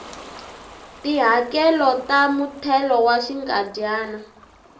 tihakelo ta muthelo wa xinkadyana